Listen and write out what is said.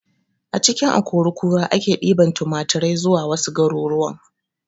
A cikin akori kura ake ɗiban tunaturai zuwa wasu garuruwan